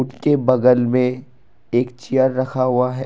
के बगल में एक चेयर रखा हुआ है।